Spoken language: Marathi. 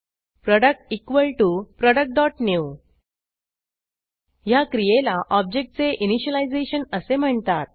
प्रोडक्ट productन्यू ह्या क्रियेला ऑब्जेक्टचे इनिशियलायझेशन असे म्हणतात